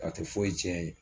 A tɛ fɔyi tiɲɛ yen